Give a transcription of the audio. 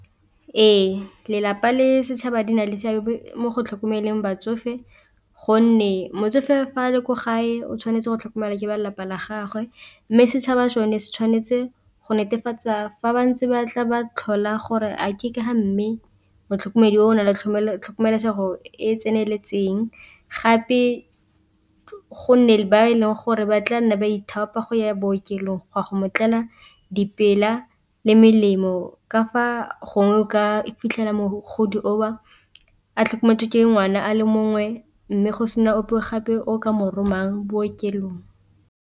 Ee, lelapa le setšhaba di na le seabe mo go tlhokomeleng batsofe gonne motsofe fa a le ko gae o tshwanetse go tlhokomelwa ke ba lelapa la gagwe, mme setšhaba sone se tshwanetse go netefatsa fa bantse ba tla ba tlhola gore a ke ka ga mme motlhokomedi o na le tlhokomelesego e e tseneletseng, gape go nne le ba e leng gore ba tla nna ba ithaopang go ya bookelong go a go mo tlela le melemo ka fa gongwe o ka fitlhela mogodi o a tlhokometswe ke ngwana a le mongwe mme go sena ope o gape o ka mo romang bookelong.